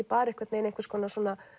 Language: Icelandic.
bara einhvers konar